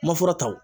Ma fura ta